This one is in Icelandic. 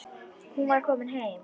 Hún var komin heim.